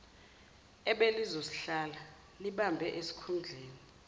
ebelizosihlala libambe isikhundleni